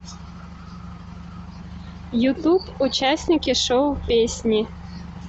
ютуб участники шоу песни